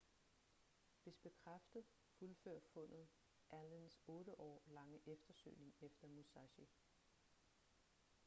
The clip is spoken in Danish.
hvis bekræftet fuldfører fundet allens otte år lange eftersøgning efter musashi